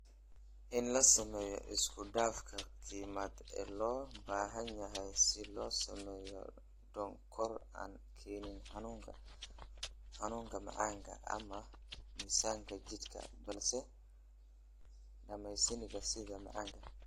in la sameeyo isku dhafka kiimikaad ee loo baahan yahay si loo sameeyo sonkor aan keenin xanuunka macaanka ama miisaanka jidhka balse dhadhaminaya sida macaanka